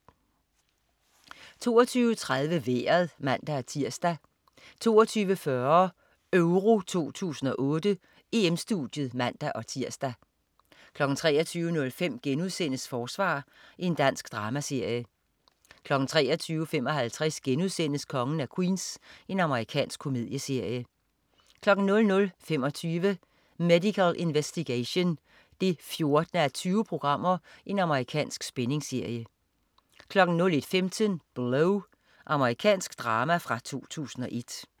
22.30 Vejret (man-tirs) 22.40 EURO 2008: EM-Studiet (man-tirs) 23.05 Forsvar.* Dansk dramaserie 23.55 Kongen af Queens.* Amerikansk komedieserie 00.25 Medical Investigation 14:20. Amerikansk spændingsserie 01.15 Blow. Amerikansk drama fra 2001